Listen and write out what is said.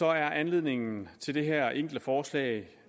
er anledningen til det her enkle forslag